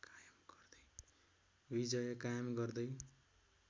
विजय कायम गर्दै